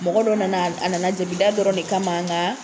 Mɔgɔ dɔ nana ,a nana jabida dɔrɔn de kama nga